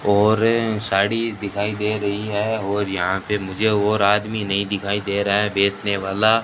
और साड़ी दिखाई दे रही है और यहां पे मुझे और आदमी नहीं दिखाई दे रहा है बेचने वाला।